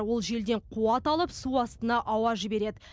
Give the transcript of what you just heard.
ол желден қуат алып су астына ауа жібереді